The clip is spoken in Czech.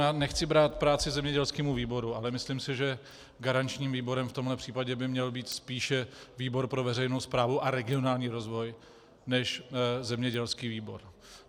Já nechci brát práci zemědělskému výboru, ale myslím si, že garančním výborem v tomto případě by měl být spíše výbor pro veřejnou správu a regionální rozvoj než zemědělský výbor.